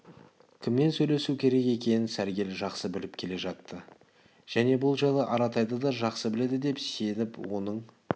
кіммен сөйлесу керек екенін сәргел жақсы біліп келе жатты және бұл жайлы аратайды да жақсы біледі деп сеніп оның